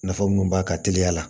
Nafa munnu b'a ka teliya la